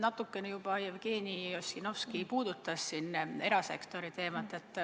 Natukene juba Jevgeni Ossinovski puudutas siin erasektori teemat.